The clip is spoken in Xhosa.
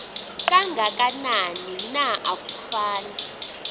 kangakanani na akufani